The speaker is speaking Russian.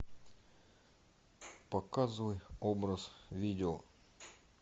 показывай образ видео